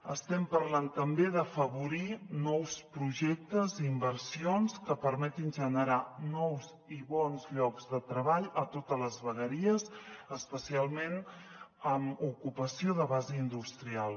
estem parlant també d’afavorir nous projectes i inversions que permetin generar nous i bons llocs de treball a totes les vegueries especialment amb ocupació de base industrial